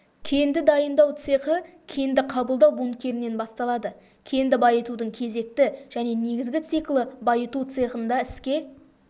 кенді дайындау цехы кенді қабылдау бункерінен басталады кенді байытудың кезекті және негізгі циклі байыту цехында іске